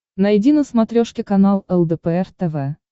найди на смотрешке канал лдпр тв